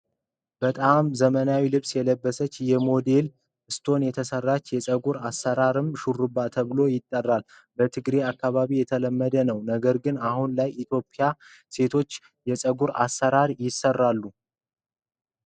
በጣም ዘመናዊ ልብስ የለበሰች የ ሞዲል ስቶን የተሰራችሁ የፀጉር አሰራርም ሾርባ ተብሎ ይጠራል። በትግሬ አካባቢ የተለመደ ነው ነገር ግን አሁን ላይ የኢትዮጵያን ሴቶች የፀጉር አሰራር ይሰራሉ።